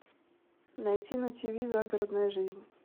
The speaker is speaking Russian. найти на тв загородная жизнь